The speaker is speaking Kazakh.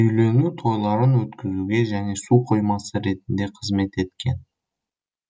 үйлену тойларын өткізуге және суқоймасы ретінде қызмет еткен